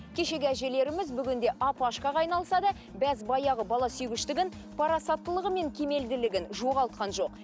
кешегі әжелеріміз бүгінде апашкаға айналса да бәз баяғы бала сүйгіштігін парасаттылығы мен кемелділігін жоғалтқан жоқ